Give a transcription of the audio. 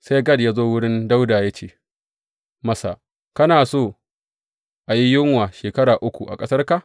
Sai Gad ya zo wurin Dawuda ya ce masa, Kana so a yi yunwa shekara uku a ƙasarka?